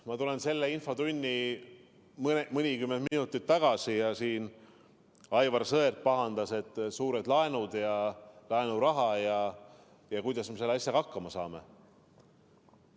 Ma lähen selles infotunnis mõnikümmend minutit ajas tagasi, kui Aivar Sõerd pahandas, et võetud on suured laenud ja laenuraha, ning küsis, kuidas me selle asjaga hakkama saame.